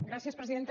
gràcies presidenta